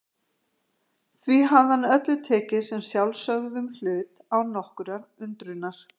Því hafði hann öllu tekið sem sjálfsögðum hlut, án nokkurrar undrunar.